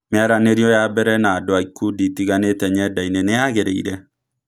Mĩaranĩrĩo ya mbere na andu a ikundi itiganĩte nyendainĩ nĩyagereire?